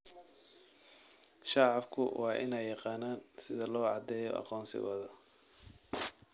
Shacabku waa in ay yaqaanaan sida loo caddeeyo aqoonsigooda.